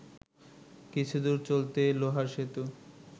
কিছুদূর চলতেই লোহার সেতু